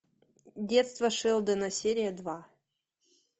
детство шелдона серия два